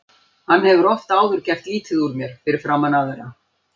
Hann hefur oft áður gert lítið úr mér fyrir framan aðra.